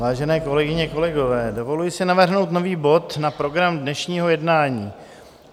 Vážené kolegyně, kolegové, dovoluji si navrhnout nový bod na program dnešního jednání.